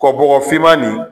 Kɔ bɔgɔfinma nin